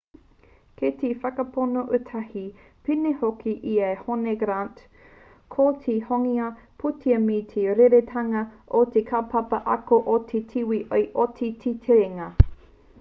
kei te whakapono ētahi pēnei hoki i a hone grant ko te kohinga pūtea me te rerekētanga o te kaupapa ako o te tīwī i oti ai te terenga